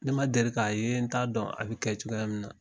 Ne ma deli k' a ye n t'a dɔn, a bi kɛ cogoya min na.